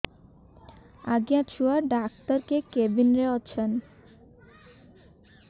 ଆଜ୍ଞା ଛୁଆ ଡାକ୍ତର କେ କେବିନ୍ ରେ ଅଛନ୍